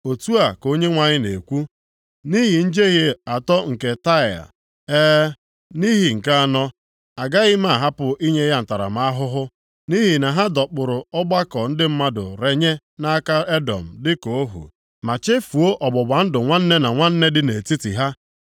Otu a ka Onyenwe anyị na-ekwu, “Nʼihi njehie atọ nke Taịa, e, nʼihi nke anọ, agaghị m ahapụ inye ya ntaramahụhụ. Nʼihi na ha dọkpụrụ ọgbakọ ndị mmadụ renye nʼaka Edọm dịka ohu, ma chefuo ọgbụgba ndụ nwanne na nwanne dị nʼetiti ha.